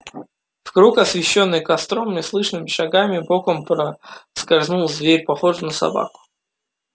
в круг освещённый костром неслышными шагами боком проскользнул зверь похожий на собаку